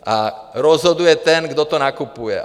A rozhoduje ten, kdo to nakupuje.